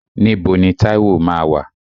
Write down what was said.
Níbo ni Táíwò máa wà?